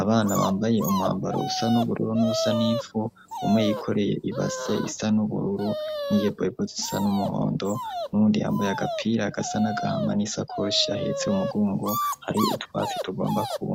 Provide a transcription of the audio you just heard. abana bambaye umhambaro usa n'ubururu n'usanifu umwey ikoreye ibase isa n'ubururu n'iyeboibotisa n'umuhondo nundi yambaye agapira agasa n'agahama n'isakoshi ahetse umugungo hari utwatsi tugomba kubae.